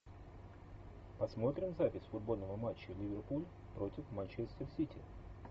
посмотрим запись футбольного матча ливерпуль против манчестер сити